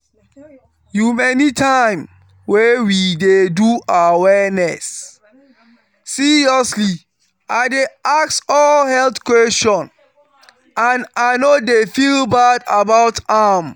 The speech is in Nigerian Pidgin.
umanytime wey we dey do awareness seriously i dey ask all health question and i no dey feel bad about am.